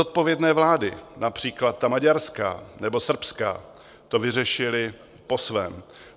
Zodpovědné vlády, například ta maďarská nebo srbská, to vyřešily po svém.